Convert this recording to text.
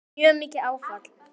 Það var mjög mikið áfall.